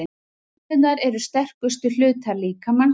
Tennurnar eru sterkustu hlutar líkamans.